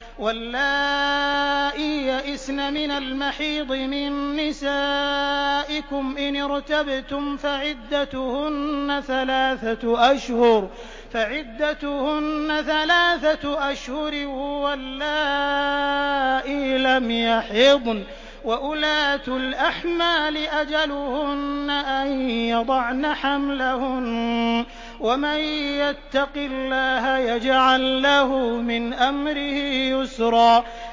وَاللَّائِي يَئِسْنَ مِنَ الْمَحِيضِ مِن نِّسَائِكُمْ إِنِ ارْتَبْتُمْ فَعِدَّتُهُنَّ ثَلَاثَةُ أَشْهُرٍ وَاللَّائِي لَمْ يَحِضْنَ ۚ وَأُولَاتُ الْأَحْمَالِ أَجَلُهُنَّ أَن يَضَعْنَ حَمْلَهُنَّ ۚ وَمَن يَتَّقِ اللَّهَ يَجْعَل لَّهُ مِنْ أَمْرِهِ يُسْرًا